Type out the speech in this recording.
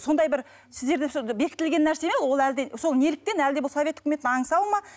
сондай бір сіздерде бекітілген нәрсе ме ол әлде сол неліктен әлде бұл совет үкіметін аңсау ма